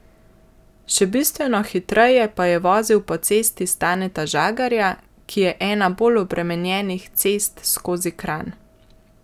Še bistveno hitreje pa je vozil po Cesti Staneta Žagarja, ki je ena bolj obremenjenih cest skozi Kranj.